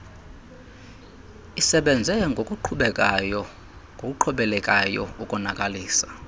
isebenze ngokuqhubelekayo ukonakalisa